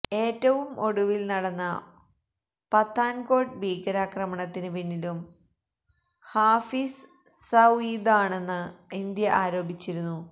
ഏറ്റവും ഒടുവില് നടന്ന പത്താന്കോട്ട് ഭീകരാക്രമണത്തിന് പിന്നിലും ഹാഫിസ് സഈദാണെന്ന് ഇന്ത്യ ആരോപിച്ചിരുന്നു